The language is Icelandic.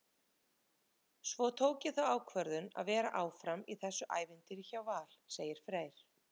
Svo tók ég þá ákvörðun að vera áfram í þessu ævintýri hjá Val, segir Freyr.